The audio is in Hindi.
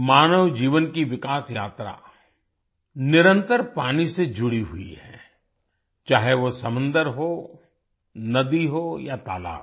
मानव जीवन की विकास यात्रा निरंतर पानी से जुड़ी हुई है चाहे वो समुंद्र हो नदी हो या तालाब हो